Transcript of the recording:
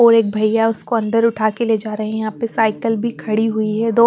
और एक भईया उसकोअन्दर उठा के ले जारे है यापे साईकल भी खड़ी हुई है दो--